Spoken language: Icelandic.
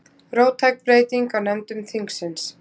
Róttæk breyting á nefndum þingsins